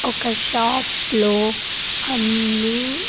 ఒక షాప్ లో అన్ని.